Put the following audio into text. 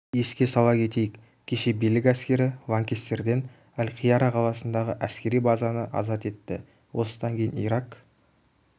еске сала кетейік кеше билік әскері лаңкестерден әл-қияра қаласындағы әскери базаны азат етті осыдан кейін ирак